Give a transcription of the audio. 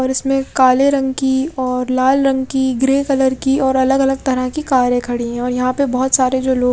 और उसमें काले रंग की और लाल रंग की ग्रे कलर की और अलग अलग तरह की कारे खड़ी है और यहाँ पे बहोत सारे जो लो --